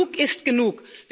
Genug ist genug!